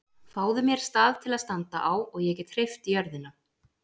Fáðu mér stað til að standa á og ég get hreyft jörðina!